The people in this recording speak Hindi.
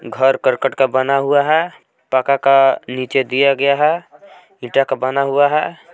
घर करकट का बना हुआ है पका का नीचे दिया गया है इंटा का बना हुआ है।